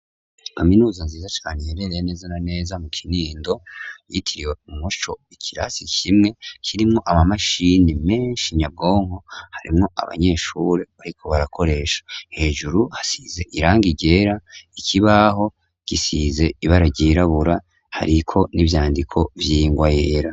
Aminuza nziza canu iyerereye nezana neza mu kinindo yitiriwe umusho ikirasi kimwe kirimwo ama mashini menshi nyabwonko harimwo abanyeshure, ariko barakoresha hejuru hasize iranga igera ikibaho gisize ibararyirabura hariko n'ivyandiko vyingwaye.